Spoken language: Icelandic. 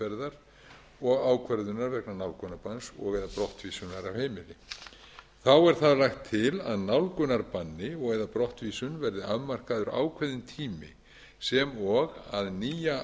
meðferðar og ákvörðunar vegna nálgunarbanns og eða brottvísunar af heimili þá er það lagt til að nálgunarbanni eða brottvísun verði afmarkaður ákveðinn tími sem og að nýja